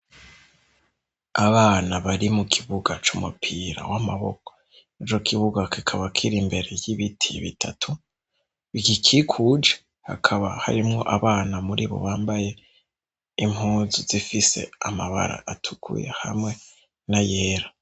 Abana bari mu kibuga c'umupira w'amaboko. Ico kibuga kikaba kiri imbere y'ibiti bitatu bigikikuje hakaba harimwo abana muri bo bambaye impuzu zifise amabara atukuye hamwe n'ayera.